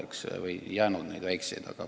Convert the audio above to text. Eks väikesi omavalitsusi ongi väheks jäänud.